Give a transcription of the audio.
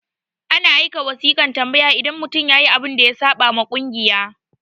ana aika wasiƙan tambaya idan mutum yayi abun da ya saɓa wa kungiya